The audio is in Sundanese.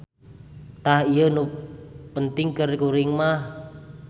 Tah ieu nu penting keur kuring mah.